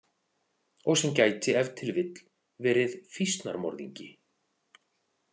Og sem gæti ef til vill verið fýsnarmorðingi.